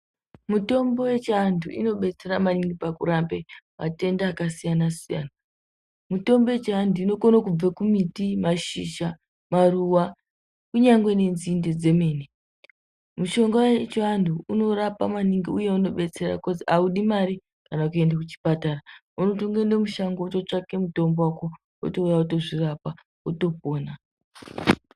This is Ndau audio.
Mitombo yechiantu inobetsera maningi pakurape matenda akasiyanasiyana mitombo yechinhu inokone kubve kumbiti ,mashizha, maruwa kunyange nenzinde dzemene, mushonga wechianhu unorapa maningi uye unobetsera ngekuti auudi mari kana kuende kuchipatara unongoende mushango wototsvake mutombo wako wotouya wotozvirapa wotopona.